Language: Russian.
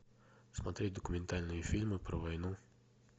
смотреть документальные фильмы про войну